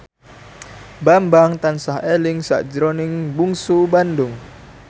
Bambang tansah eling sakjroning Bungsu Bandung